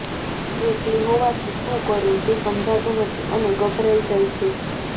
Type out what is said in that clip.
એકલી હોવાથી શું કરવું તે સમજાતું નથી અને ગભરાઈ જાય છે